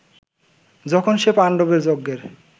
যখন সে পাণ্ডবের যজ্ঞের